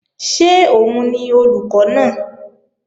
Ṣé òun ni olùkọ́ náà?